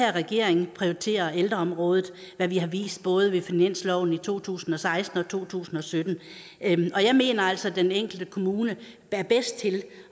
her regering prioriterer ældreområdet hvad vi har vist både ved finansloven i to tusind og seksten og i to tusind og sytten jeg mener altså at den enkelte kommune er bedst til